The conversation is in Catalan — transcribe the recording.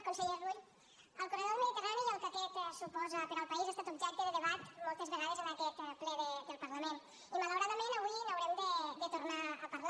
conseller rull el corredor del mediterrani i el que aquest suposa per al país ha estat objecte de debat moltes vegades en aquest ple del parlament i malauradament avui n’haurem de tornar a parlar